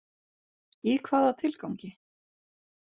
Í hvaða tilgangi?